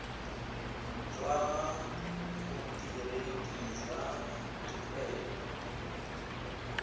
tswa go bodiredi jwa dikgwebo